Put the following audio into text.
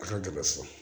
A ka gɛlɛ so